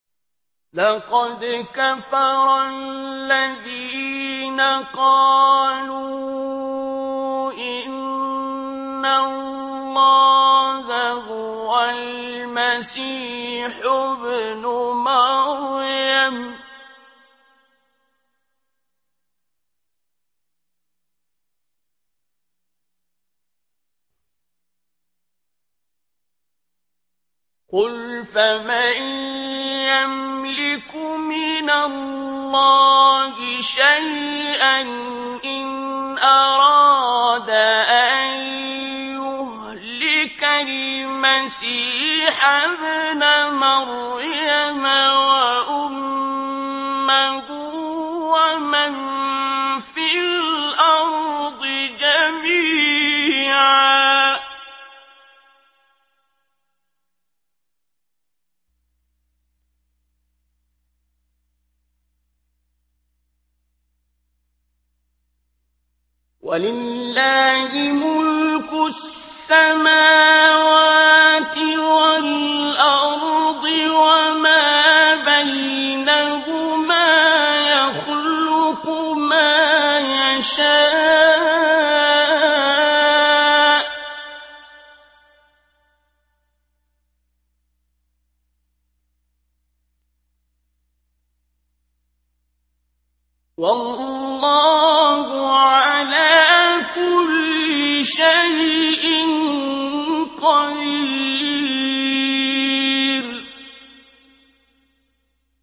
لَّقَدْ كَفَرَ الَّذِينَ قَالُوا إِنَّ اللَّهَ هُوَ الْمَسِيحُ ابْنُ مَرْيَمَ ۚ قُلْ فَمَن يَمْلِكُ مِنَ اللَّهِ شَيْئًا إِنْ أَرَادَ أَن يُهْلِكَ الْمَسِيحَ ابْنَ مَرْيَمَ وَأُمَّهُ وَمَن فِي الْأَرْضِ جَمِيعًا ۗ وَلِلَّهِ مُلْكُ السَّمَاوَاتِ وَالْأَرْضِ وَمَا بَيْنَهُمَا ۚ يَخْلُقُ مَا يَشَاءُ ۚ وَاللَّهُ عَلَىٰ كُلِّ شَيْءٍ قَدِيرٌ